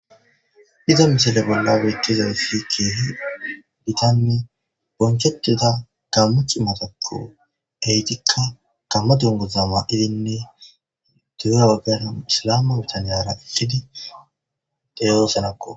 Iza misile bolla bettizaysi kehi gittanne bochchetiza gamo c'imatakko heggettika gamo dunguza mayiddinne dugge bagara issi gamo bitaniyara eqqidi deosonakko